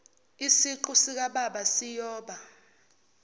isiqu sikababa siyoba